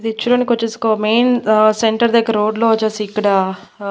ఇది చూడనీకి వచ్చేసి ఒక మెయిన్ ఆ సెంటర్ దగ్గర రోడ్లో వచ్చేసి ఇక్కడ.